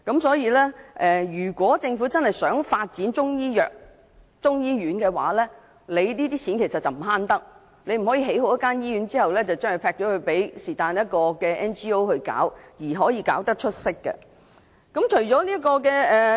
所以，如果政府真的想發展中醫藥或中醫院，這些錢便不能省，不可以在興建醫院後，便拋給非政府機構接辦，又期望它們會做得出色。